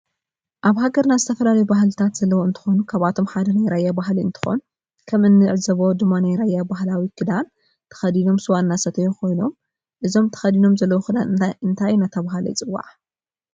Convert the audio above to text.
አብ ሃገርና ዝተፈላለዩ ባህልታት ዘለዎ እንትኮኑ ካብአቶም ሓደ ናይ ራያ ባህሊ እንትኮን ከም እንዕዞቦ ድማ ናይ ራያ ባህላዊ ክዳን ተከዲኖም ስዋ እናሰተዩ ኮይኖም እዚ ተከዲኖምዎ ዘለዎ ክዳን እንታይ እናተባህለ ይፅዋዕ?